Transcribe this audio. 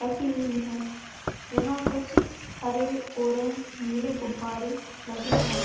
रखी हुवी है यहाँ कुछ हरे ऑरेंज नीले गुब्बारे लगे है।